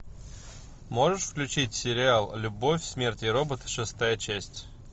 можешь включить сериал любовь смерть и робот шестая часть